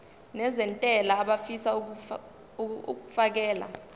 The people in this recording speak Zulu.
nezentela abafisa uukfakela